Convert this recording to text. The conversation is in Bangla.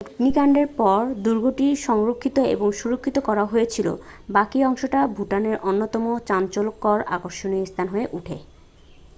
অগ্নিকাণ্ডের পর দুর্গটি সংরক্ষিত এবং সুরক্ষিত করা হয়েছিল বাকি অংশটা ভুটানের অন্যতম চাঞ্চল্যকর আকর্ষণীয় স্থান হয়ে ওঠে